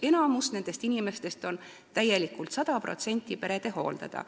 Enamik nendest inimestest on täielikult, sada protsenti pere hooldada.